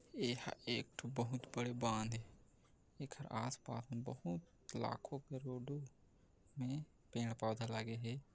ए- ह- एक ठो बहुत बड़े बांध हे एकर आस पास में बहुत लाखों करोड़ों में पेड़ पौधा लागे हे।